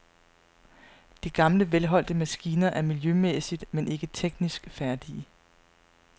De gamle velholdte maskiner er miljømæssigt, men ikke teknisk færdige.